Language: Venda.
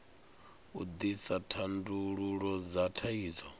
u ḓisa thandululo dza thaidzo